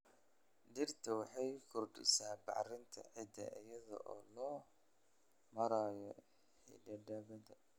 Dhirta waxay kordhisaa bacrinta ciidda iyada oo loo marayo xididadeeda.